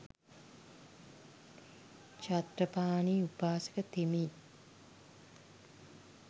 චත්තපාණී උපාසක තෙමේ